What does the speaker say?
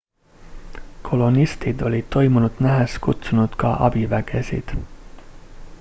kolonistid olid toimunut nähes kutsunud ka abivägesid